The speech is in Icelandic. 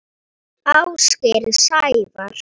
Ásgeir Sævar.